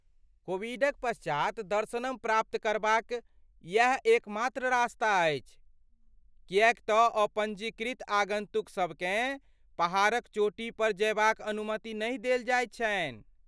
कोविडक पश्चात, दर्शनम प्राप्त करबाक इएह एकमात्र रस्ता अछि , किएक तँ अपँजीकृत आगन्तुकसभ केँ पहाड़क चोटीपर जयबाक अनुमति नहि देल जाइत छनि।